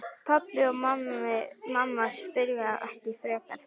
Pabbi og mamma spyrja ekki frekar.